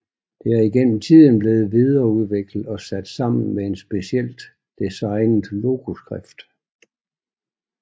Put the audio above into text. Det er igennem tiden blevet videreudviklet og sat sammen med en specielt designet logoskrift